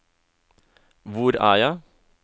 hvor er jeg